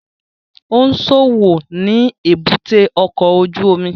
Ó ń ṣòwò ni èbúté ọkọ̀ ojú omi